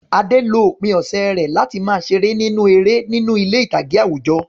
Ade lo òpin ọ̀sẹ̀ rẹ̀ láti máa ṣeré nínú eré ní ilé ìtàgé àwùjọ.